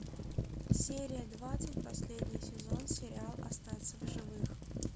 серия двадцать последний сезон сериал остаться в живых